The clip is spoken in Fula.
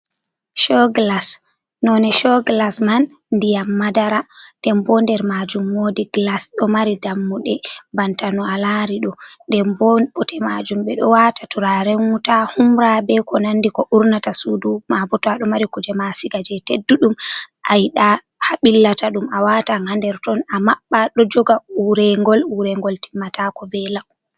Shoogilas, none shoogilas man ndiyam madara, ndenbo nder majum woodi gilas ɗo mari dammuɗe banta no alari ɗo. Ndenbo bote majum ɓe ɗo wata turaren wuta, humra be konandi ko urnata Suudu, mabo ta aɗo mari kujema asiga je tedduɗum ayiɗa ha ɓillata ɗum awata ha nder ton amabɓa. Ɗo jooga urengol, urengol timmatako be lau.